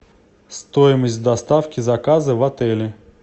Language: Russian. стоимость доставки заказа в отеле